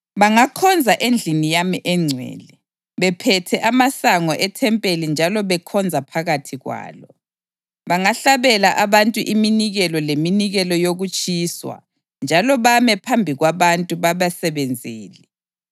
Bangakhonza endlini yami engcwele, bephethe amasango ethempeli njalo bekhonza phakathi kwalo; bangahlabela abantu iminikelo leminikelo yokutshiswa njalo bame phambi kwabantu babasebenzele.